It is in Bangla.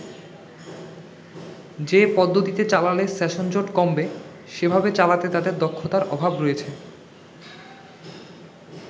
যে পদ্ধতিতে চালালে সেশনজট কমবে সেভাবে চালাতে তাদের দক্ষতার অভাব রয়েছে”।